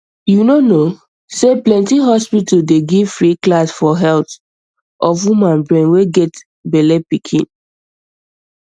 you no no say plenty hospitals dey give free class for health of woman brain way get bellepikin